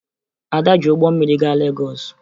Ada ji ụgbọ mmiri gaa Legọọsụ